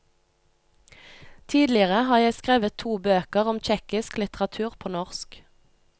Tidligere har jeg skrevet to bøker om tsjekkisk litteratur på norsk.